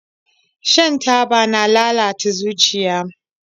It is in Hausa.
Shan taba na lalata zuciya